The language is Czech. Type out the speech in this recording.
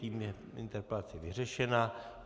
Tím je interpelace vyřešena.